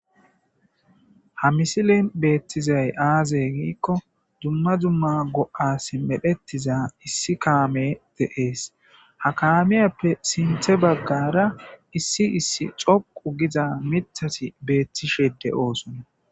ha misilin beettizay aazey giikko dumma dumma go7as medhettiza issi kaame deees ha kaamiyappe sinthe baggara issi issi coqu giza mithati beettishede oosona